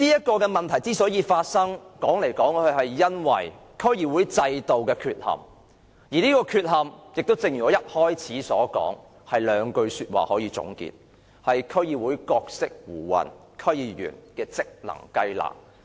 這個問題之所以發生，說到底，是因為區議會制度的缺陷，而這個缺陷正如我一開始所說，是兩句說話可以總結，便是"區議會角色胡混，區議員職能雞肋"。